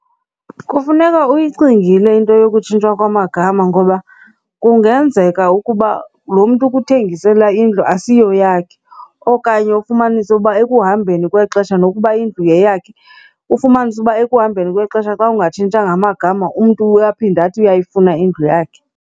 Kufuneka uyicingile into yokutshintshwa kwamagama ngoba kungenzeka ukuba lo mntu ukuthengisela indlu asiyo yakhe okanye ufumanise uba ekuhambeni kwexesha nokuba indlu yeyakhe, ufumanise uba ekuhambeni kwexesha xa ungatshintshanga amagama umntu uyaphinda athi uyayifuna indlu yakhe.